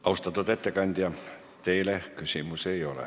Austatud ettekandja, teile küsimusi ei ole.